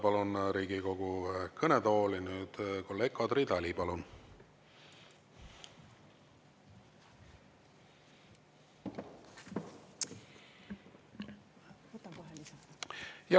Palun Riigikogu kõnetooli Eesti 200 fraktsiooni nimel kõnelema kolleeg Kadri Tali.